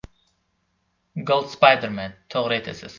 Gold Spiderman: To‘g‘ri etasiz.